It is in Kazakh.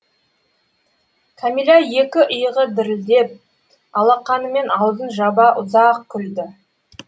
кәмилә екі иығы дірілдеп алақанымен аузын жаба ұзақ күлді